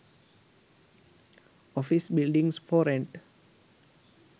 office buildings for rent